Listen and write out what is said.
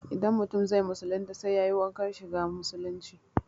Idan mutum zai musulunta sai yayi wankan shiga musulunci